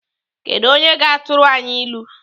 Kedụ onye ga-atụrụ anyị ilu?